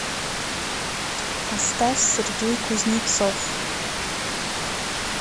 поставь сергей кузнецов